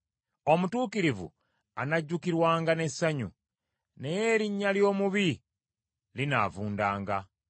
Omutuukirivu anajjukirwanga n’essanyu, naye erinnya ly’omubi linaavundanga.